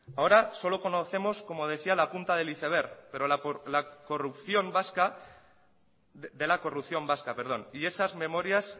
ahora solo conocemos como decía la punta del iceberg de la corrupción vasca y esas memorias